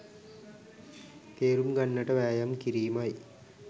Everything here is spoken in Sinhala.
තේරුම් ගන්නට වෑයම් කිරීමයි